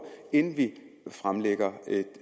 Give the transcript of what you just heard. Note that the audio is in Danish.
inden vi fremlægger et